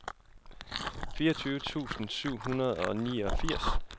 fireogtyve tusind syv hundrede og niogfirs